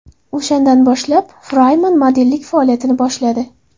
O‘shandan boshlab Friman modellik faoliyatini boshladi.